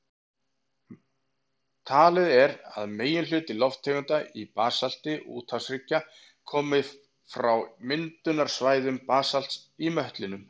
Talið er að meginhluti lofttegunda í basalti úthafshryggja komi frá myndunarsvæðum basalts í möttlinum.